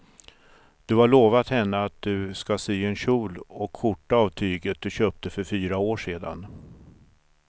Du har lovat henne att du ska sy en kjol och skjorta av tyget du köpte för fyra år sedan.